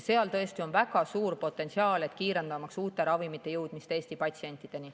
Seal on väga suur potentsiaal, kiirendamaks uute ravimite jõudmist Eesti patsientideni.